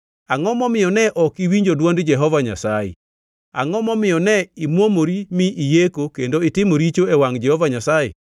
Angʼo momiyo ne ok iwinjo dwond Jehova Nyasaye? Angʼo momiyo ne imuomori mi iyeko kendo itimo richo e wangʼ Jehova Nyasaye?”